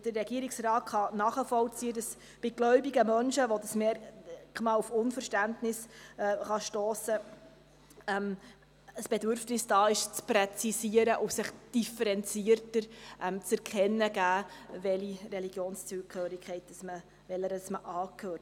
Der Regierungsrat kann nachvollziehen, dass bei gläubigen Menschen, bei welchen dieses Merkmal auf Unverständnis stossen kann, ein Bedürfnis vorhanden ist, zu präzisieren und differenzierter erkennen zu lassen, welcher Religion man angehört.